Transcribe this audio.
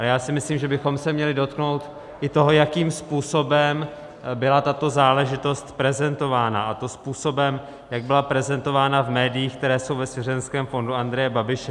A já si myslím, že bychom se měli dotknout i toho, jakým způsobem byla tato záležitost prezentována, a to způsobem, jak byla prezentována v médiích, které jsou ve svěřenském fondu Andreje Babiše.